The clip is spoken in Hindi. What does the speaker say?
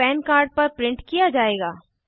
यह पन कार्ड पर प्रिंट किया जायेगा